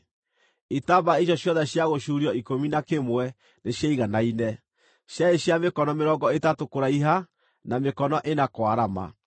Itambaya icio ciothe cia gũcuurio ikũmi na kĩmwe nĩciaiganaine; ciarĩ cia mĩkono mĩrongo ĩtatũ kũraiha, na mĩkono ĩna kwarama.